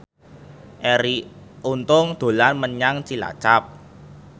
Arie Untung dolan menyang Cilacap